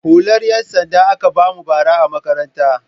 Hular 'yansanda aka ba mu bara a makaranta.